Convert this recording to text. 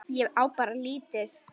Ég á bara lítið.